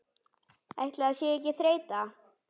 Ætli það sé ekki þreyta